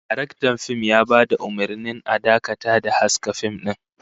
Daraktan fim ya bada umurnin a dakata da haska fim din